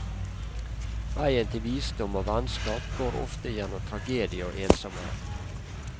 Veien til visdom og vennskap går ofte gjennom tragedie og ensomhet.